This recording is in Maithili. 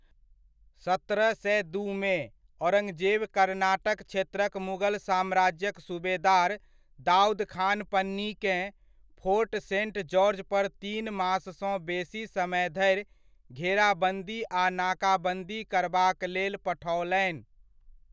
सत्रह सए दूमे, औरंगजेब कर्नाटक क्षेत्रक मुगल साम्राज्यक सुबेदार दाऊद खान पन्नीकेँ, फोर्ट सेंट जॉर्ज पर तीन माससँ बेसी समय धरि घेराबन्दी आ नाकाबन्दी करबाक लेल पठओलनि।